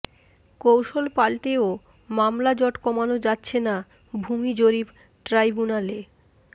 কৌশল পাল্টেও মামলাজট কমানো যাচ্ছে না ভূমি জরিপ ট্রাইব্যুনালে